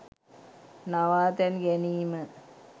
නවාතැන් ගැනීම